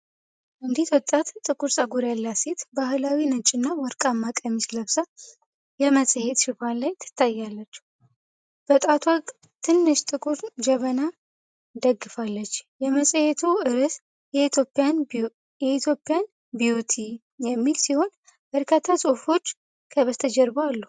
አንዲት ወጣት ጥቁር ፀጉር ያላት ሴት ባህላዊ ነጭና ወርቃማ ቀሚስ ለብሳ የመጽሔት ሽፋን ላይ ትታያለች። በጣቷ ትንሽ ጥቁር ጀበና ደግፋለች። የመጽሔቱ አርእስት "ኢትዮጵያን ቢውቲ" የሚል ሲሆን፣ በርካታ ጽሑፎች ከበስተጀርባ አሉ።